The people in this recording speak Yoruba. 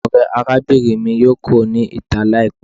Ore arabinrin mi yoo kuro ni ita laipẹ